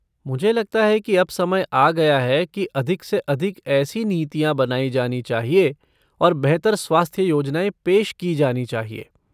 मुझे लगता है कि अब समय आ गया है कि अधिक से अधिक ऐसी नीतियाँ बनाई जानी चाहिए और बेहतर स्वास्थ्य योजनाएँ पेश की जानी चाहिए।